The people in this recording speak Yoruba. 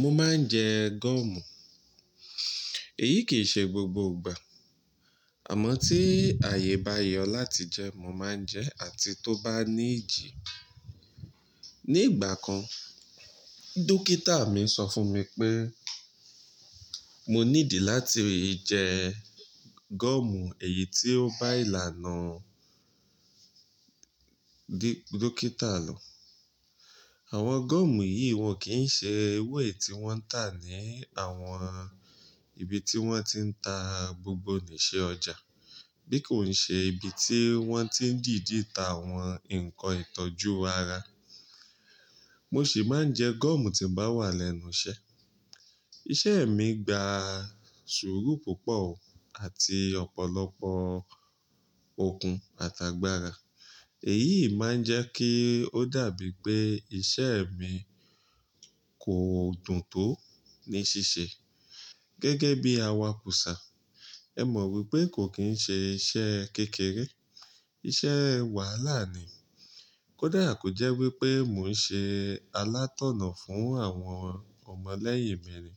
Mo máa ń jẹ gọ́ọ̀mù. Èyí kì í ṣe gbogbo ìgbà. Àmọ́ tí ààyè bá yọ láti jẹ, mo máa ń jẹ àti tó bá ní ìjì. Ni ìgbà kan, dókítà mi sọ fún mi pé mo need láti jẹ gọ́ọ̀mù èyí tí ó bá ìlànà d-dókítà lò. Àwọn gọ́ọ̀mù yìí wọn kì í ṣe ewé tí wọ́n tà ní àwọn ibi tí wọ́n ti ń ta gbogbo niṣe ọjà bí kò ṣe ibi tí wọ́n ti ń dìdi ta àwọn nǹkan ìtọ́jú ara. Mo sì máa ń jẹ gọ́ọ̀mù tí n bá wà lẹ́nu iṣẹ́. Iṣẹ́ mi gba sùúrù púpọ̀ àti ọ̀pọ̀lọpọ̀ okun àtàgbàra. Èyí máa ń jẹ́ kí ó dàbí pé iṣẹ́ mi kò dùn tó ní ṣiṣẹ́ gẹ́gẹ́ bí awakùsà. Ẹ mọ̀ wípé kò kín ṣe iṣẹ́ kékeré, iṣẹ́ wàhálà ni. Kódà kò jẹ́ wípé mò ń ṣe alátọ̀nà fún àwọn ọmọ lẹ́yìn mi ni.